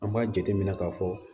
An b'a jate minɛ ka fɔ